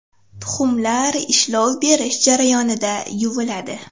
Tuxumlar ishlov berish jarayonida yuviladi.